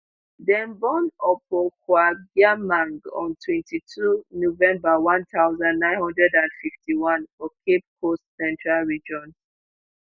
dem born opokuagyemang on twenty-two november one thousand, nine hundred and fifty-one for cape coast central region